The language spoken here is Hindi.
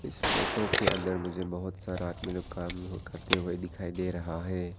इस फोटो के अंदर में मुझे बहुत सारा आदमी लोग काम करते हुए दिखाई दे रहा है।